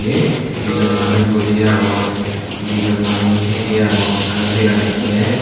eh dijon manuj buji agon dijon manuj thye thye agon aro dega jatte.